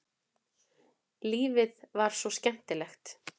Lífið var svo skemmtilegt.